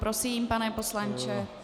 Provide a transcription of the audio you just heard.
Prosím, pane poslanče.